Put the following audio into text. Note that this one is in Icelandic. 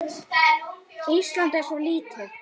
Ísland er svo lítið!